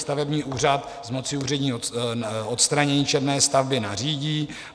Stavební úřad z moci úřední odstranění černé stavby nařídí.